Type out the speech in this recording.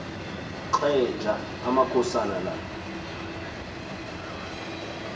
xeja amakhosana la